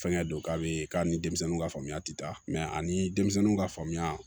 Fɛnkɛ don k'a be k'a ni denmisɛnninw ka faamuya te taa mɛ ani denmisɛnninw ka faamuya